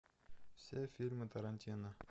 все фильмы тарантино